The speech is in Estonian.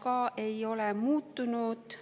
Ka ei ole muutunud